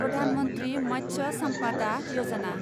Pradhan Mantri Matsya Sampada Yojana